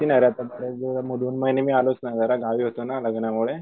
दोन महिने मी आलोच नाय जरा गावी होतो ना लग्नामुळे